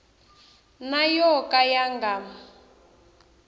na yo ka ya nga